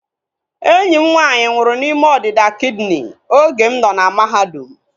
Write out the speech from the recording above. Enyi m nwaanyị nwụrụ n'ime ọdịda kidini oge m nọ na mahadum